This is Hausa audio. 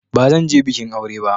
Ba zan je bikin aure ba.